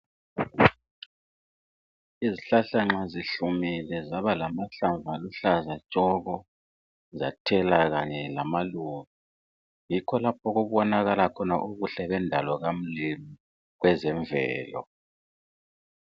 Izihlahla nxa zihlumile zaba lamahlamvu aluhlaza tshoko zathela kanye lamaluba yikho lapho okubonakala khona ubuhle bendalo kamlimu kwezemvelo